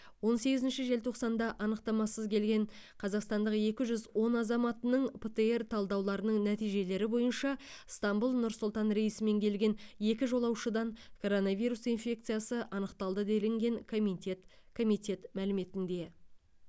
он сегізінші желтоқсанда анықтамасыз келген қазақстанның екі жүз он азаматының птр талдауларының нәтижелері бойынша ыстанбұл нұр сұлтан рейсімен келген екі жолаушыдан коронавирус инфекциясы анықталды делінген комитет комитет мәліметінде